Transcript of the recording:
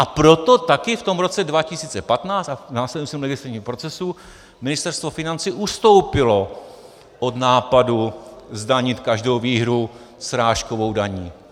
A proto taky v tom roce 2015 a v následujícím legislativním procesu Ministerstvo financí ustoupilo od nápadu zdanit každou výhru srážkovou daní.